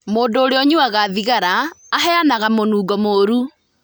Mũndũ ũrĩa ũnyuaga thigara aheanaga mũnungo mũũru.